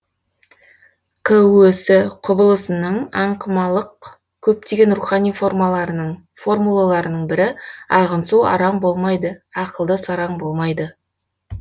көс құбылысының аңқымалық көптеген рухани формуларының бірі ағын су арам болмайды ақылды сараң болмайды